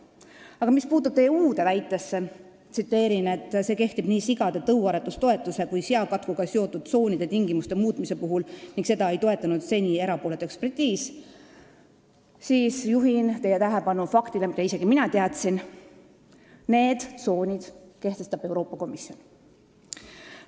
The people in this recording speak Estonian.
Aga mis puutub teie uude väitesse, et see kehtib nii sigade tõuaretustoetuse kui ka seakatkuga seotud tsoonide tingimuste muutmise puhul ja seda ei toetanud seni erapooletu ekspertiis, siis juhin teie tähelepanu faktile, mida isegi mina teadsin: need tsoonid kehtestab Euroopa Komisjon.